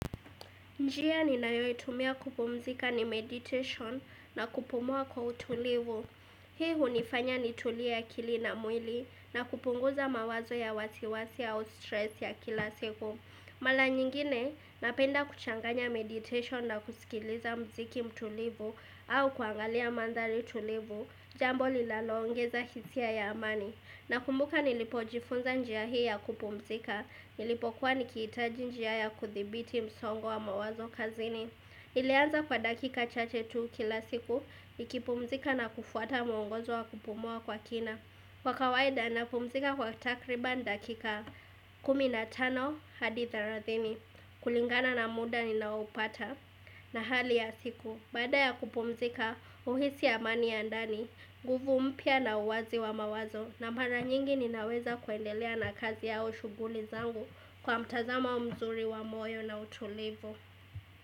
Njia ni nayoitumia kupumzika ni meditation na kupumua kwa utulivu. Hii hunifanya ni tulie akili na mwili na kupunguza mawazo ya wasiwasi au stress ya kila siku. Mala nyingine napenda kuchanganya meditation na kusikiliza mziki mtulivu au kuangalia mandhari tulivu jambo lilaloongeza hisia ya amani. Na kumbuka nilipo jifunza njia hii ya kupumzika Nilipo kuwa nikiitaji njia ya kuthibiti msongo wa mawazo kazini ilianza kwa dakika cha che tu kila siku nikipumzika na kufuata mwongozo wa kupumua kwa kina kWa kawaida na pumzika kwa takriban dakika 15 hadi 30 kulingana na muda ni naoupata na hali ya siku Baada ya kupumzika uhisi amani ya ndani nGuvu mpya na uwazi wa mawazo na mara nyingi ninaweza kuendelea na kazi yao shuguli zangu kwa mtazamo mzuri wa moyo na utulivu.